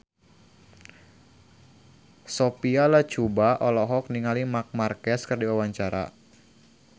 Sophia Latjuba olohok ningali Marc Marquez keur diwawancara